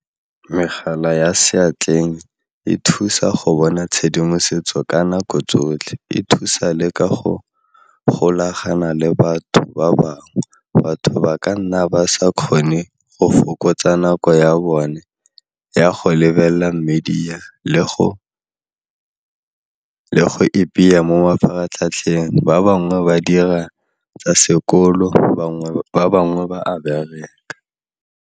Megala ya seatleng e thusa go bona tshedimosetso ka nako tsotlhe, e thusa le ka go golagana le batho ba bangwe batho ba ka nna ba sa kgone go fokotsa nako ya bone ya go lebelela media le go ipeya mo mafaratlhatlheng ba bangwe ba dira tsa sekolo ba bangwe ba a bereka.